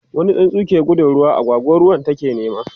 wani tsuntsu ke gudun ruwa, agwagwa ruwan take nema